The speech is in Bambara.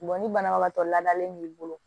ni banabagatɔ laadalen b'i bolo